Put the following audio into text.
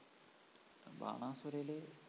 ബാണാസുരേല്